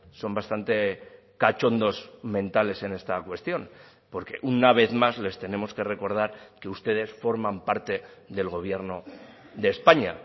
son bastante cachondos mentales en esta cuestión porque una vez más les tenemos que recordar que ustedes forman parte del gobierno de españa